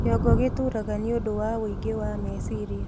Kĩongo gĩtuuraga nĩũndũ wa wũingĩ wa mecirĩa